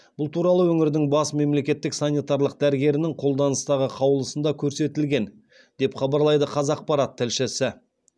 бұл туралы өңірдің бас мемлекеттік санитарлық дәрігерінің қолданыстағы қаулысында көрсетілген деп хабарлайды қазақпарат тілшісі